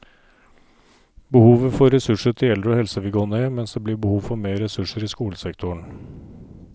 Behovet for ressurser til eldre og helse vil gå ned, mens det blir behov for mer ressurser i skolesektoren.